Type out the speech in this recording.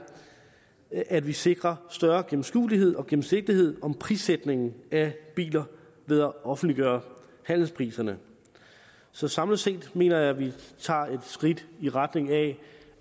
at vi sikrer større gennemskuelighed og gennemsigtighed om prissætningen af biler ved at offentliggøre handelspriserne så samlet set mener jeg at vi tager et skridt i retning af